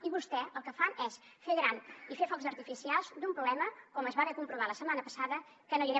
i vostès el que fan és fer gran i fer focs artificials d’un problema com es va comprovar la setmana passada que no hi era